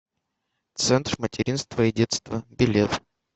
центр материнства и детства билет